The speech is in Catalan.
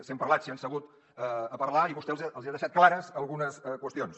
si han parlat si han segut a parlar i vostè els hi ha deixat clares algunes qüestions